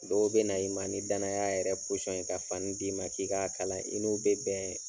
Dɔw bɛ na i ma ni danaya yɛrɛ ye ka fani d'i ma k'i k'a kalan i n'o bɛ bɛn